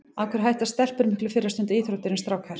Af hverju hætta stelpur miklu fyrr að stunda íþróttir en strákar?